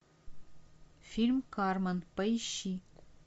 фильм кармен поищи